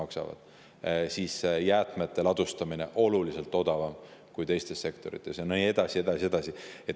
Ka jäätmete ladustamine on oluliselt odavam kui teistes sektorites ja nii edasi ja nii edasi.